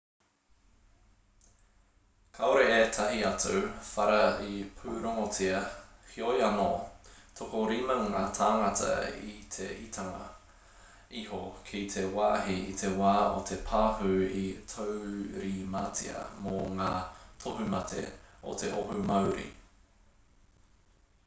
kāore ētahi atu whara i pūrongotia heoi anō tokorima ngā tāngata i te itinga iho ki te wāhi i te wā o te pahū i taurimatia mō ngā tohumate o te oho mauri